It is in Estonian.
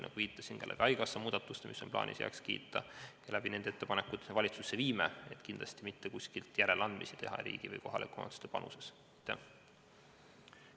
Viitasin haigekassa muudatustele, mis on plaanis heaks kiita, ja ettepanekutele, mis me valitsusse viime, et kindlasti ei tehtaks riigi või kohalike omavalitsuste panuses järeleandmisi.